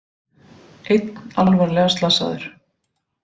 Einn alvarlega slasaður